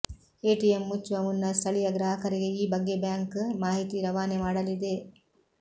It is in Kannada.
ಎಟಿಎಂ ಮುಚ್ಚುವ ಮುನ್ನ ಸ್ಥಳೀಯ ಗ್ರಾಹಕರಿಗೆ ಈ ಬಗ್ಗೆ ಬ್ಯಾಂಕ್ ಮಾಹಿತಿ ರವಾನೆ ಮಾಡಲಿದೆ